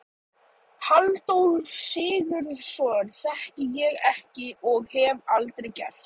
Halldór Sigurðsson þekki ég ekki- og hef aldrei gert.